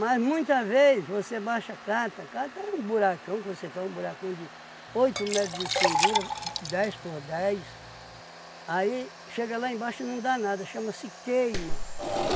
Mas, muita vez, você baixa a cata, a cata é um buracão, que você faz um buracão de oito metros de fundura, dez por dez, aí chega lá embaixo e não dá nada, chama-se queima.